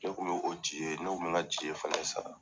Ne kun be o Dj, ne kun bɛ n ka Dj fana sara